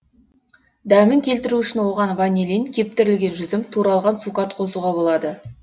дәмін келтіру үшін оған ванилин кептірілген жүзім туралған цукат қосуға болады